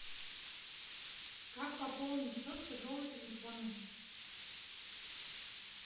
как пополнить счет чужого телефона